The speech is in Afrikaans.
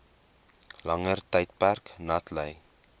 langer tydperk natlei